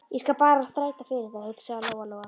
Ég skal bara þræta fyrir það, hugsaði Lóa-Lóa.